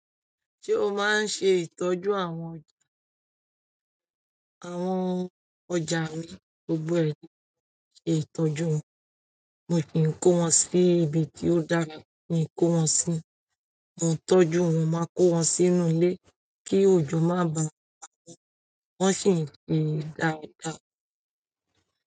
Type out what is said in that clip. Ṣé o máa ń ṣe ìtọ́jú àwọn ọjà rẹ? Àwọn ọjà mi gbogbo ẹ̀dá máa ń ṣe ìtọ́jú wọn. Mo sì ń kó wọn sí ibi tí ó dára, i okí n kó wọn sí. Àwọn tọ́jú wọn máa kó wọn sínú ilé kí òjò má bàa pawọn, wọ́n sì ńi dáradára.